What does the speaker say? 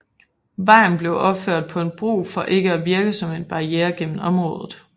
Vejen blev opført på en bro for ikke at virke som en barriere gennem området